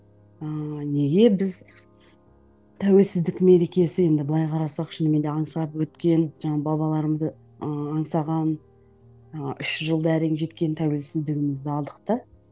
ыыы неге біз тәуелсіздік мерекесі енді былай қарасақ шынымен де аңсап өткен жаңағы бабаларымызды ы аңсаған ы үш жүз жылда әрең жеткен тәуелсіздігімізді алдық та